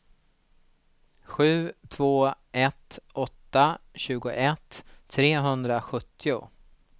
sju två ett åtta tjugoett trehundrasjuttio